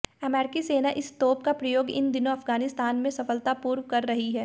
अमेरिकी सेना इस तोप का प्रयोग इन दिनों अफगानिस्तान में सफलतापूर्व कर रही है